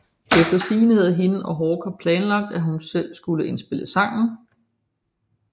Efter sigende havde hende og Hawker plnalagt at hun selv skulle indspille sangen